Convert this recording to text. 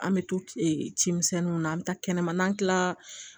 An bɛ to ci misɛnninw na an bɛ taa kɛnɛma n'an tila la